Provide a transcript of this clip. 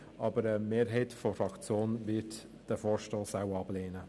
Trotzdem wird die Mehrheit der EDU-Fraktion diesen Vorstoss wohl ablehnen.